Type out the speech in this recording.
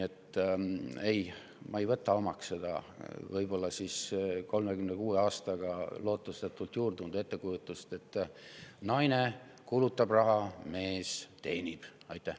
Seega, mina ei võta omaks seda võib-olla 36 aasta jooksul lootusetult juurdunud ettekujutust, et naine kulutab raha ja mees teenib seda.